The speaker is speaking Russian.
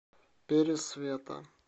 пересвета